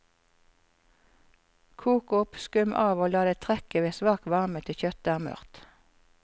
Kok opp, skum av og la det trekke ved svak varme til kjøttet er mørt.